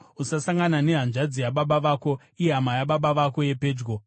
“ ‘Usasangana nehanzvadzi yababa vako, ihama yababa vako yepedyo.